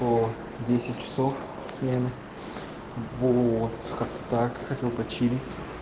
по десять часов смены вот как-то так хотел почилить